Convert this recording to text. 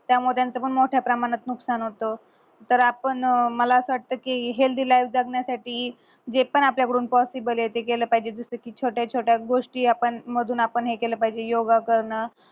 त्यामुळे त्यांचा पण मोठ्या प्रमाणात नुकसान होत तर आपण अं मला असा वाटतं कि healthy life जगण्यासाठी जे पण आपल्या कडून possible ये ते केल पाहिजे जस कि छोट्या छोट्या गोष्टी आपण मधून हे केलं पाहिजे जस कि योगा करणं